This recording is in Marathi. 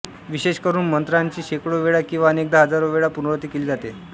विशेष करून मंत्रांची शेकडो वेळा किंवा अनेकदा हजारो वेळा पुनरावृत्ती केली जाते